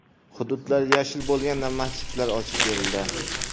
Hududlar yashil bo‘lganda masjidlar ochib berildi.